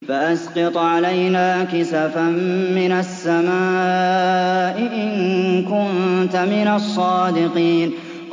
فَأَسْقِطْ عَلَيْنَا كِسَفًا مِّنَ السَّمَاءِ إِن كُنتَ مِنَ الصَّادِقِينَ